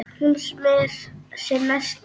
Hún smyr sér nesti.